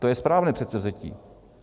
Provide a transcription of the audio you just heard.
To je správné předsevzetí.